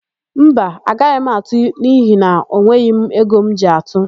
Mba, agaghị m atụ n'ihi na enweghi m ego m ji atụ.